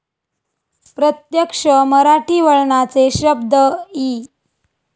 प्रत्यक्ष मराठी वळणाचे शब्ध इ.